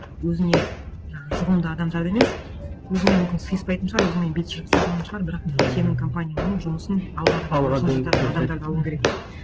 өзіне жаңа жұғымды адамдарды емес өзіңмен мүмкін сиыспайтын шығар өзіңмен бет жыртысатын шығар бірақ сенің компанияңның жұмысын алға адамдарды алу керек деп